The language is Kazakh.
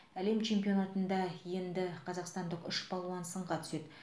әлем чемпионатында енді қазақстандық үш балуан сынға түседі